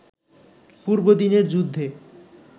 পূর্বদিনের যুদ্ধে